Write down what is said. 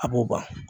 A b'o ban